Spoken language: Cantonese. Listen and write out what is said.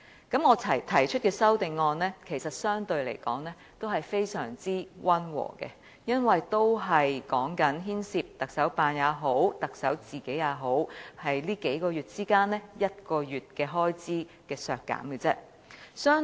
其實我提出的修正案相對來說非常溫和，因為只牽涉削減行政長官辦公室和行政長官個人在這數個月間其中1個月的開支。